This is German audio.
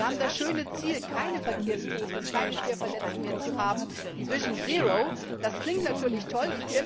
Wir haben das schöne Ziel, keine Verkehrstoten und keine Schwerverletzten mehr zu haben, die Vision 0 das klingt natürlich toll.